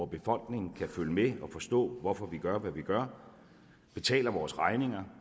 befolkningen kan følge med og forstå hvorfor vi gør hvad vi gør betaler vores regninger